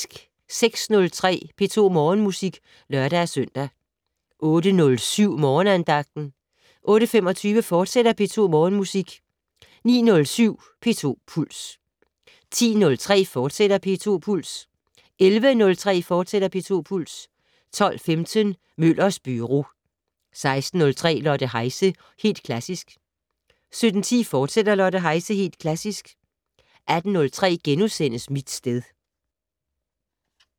06:03: P2 Morgenmusik (lør-søn) 08:07: Morgenandagten 08:25: P2 Morgenmusik, fortsat 09:07: P2 Puls 10:03: P2 Puls, fortsat 11:03: P2 Puls, fortsat 12:15: Møllers Byro 16:03: Lotte Heise - Helt Klassisk 17:10: Lotte Heise - Helt Klassisk, fortsat 18:03: Mit sted *